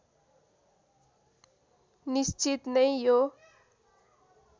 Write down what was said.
निश्चित नै यो